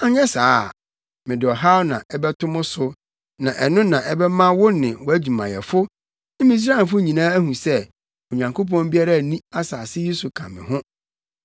anyɛ saa a, mede ɔhaw na ɛbɛto mo so na ɛno na ɛbɛma wo ne wʼadwumayɛfo ne Misraimfo nyinaa ahu sɛ Onyankopɔn biara nni asase yi so ka me ho.